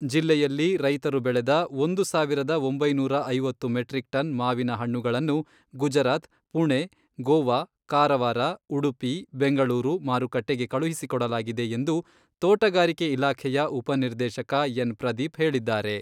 ಜಿಲ್ಲೆಯಲ್ಲಿ ರೈತರು ಬೆಳೆದ ಒಂದು ಸಾವಿರದ ಒಂಬೈನೂರ ಐವತ್ತು ಮೆಟ್ರಿಕ್ ಟನ್ ಮಾವಿನ ಹಣ್ಣುಗಳನ್ನು ಗುಜರಾತ್, ಪುಣೆ, ಗೋವಾ, ಕಾರವಾರ, ಉಡುಪಿ, ಬೆಂಗಳೂರು ಮಾರುಕಟ್ಟೆಗೆ ಕಳುಹಿಸಿಕೊಡಲಾಗಿದೆ ಎಂದು ತೋಟಗಾರಿಕೆ ಇಲಾಖೆಯ ಉಪನಿರ್ದೇಶಕ ಎನ್ ಪ್ರದೀಪ್ ಹೇಳಿದ್ದಾರೆ.